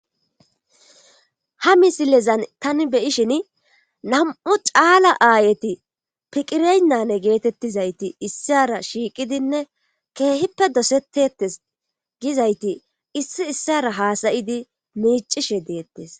ha misilezan tani beyishin nam7u caala aayeti piqireynyane geetettizayti issara shiiqidinne keehippe dosetetes gizayti issi issara haasayidi miicishe deettes